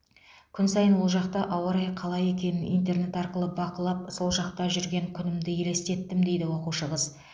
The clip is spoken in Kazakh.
күн сайын ол жақта ауа райы қалай екенін интернет арқылы бақылап сол жақта жүрген күнімді елестеттім дейді оқушы қыз